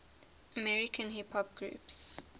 american hip hop groups